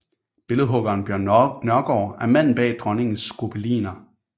Billedhuggeren Bjørn Nørgaard er manden bag dronningens gobeliner